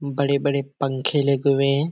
बड़े बड़े पंखे लगे हुए हैं।